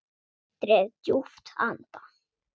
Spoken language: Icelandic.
Dreg djúpt andann.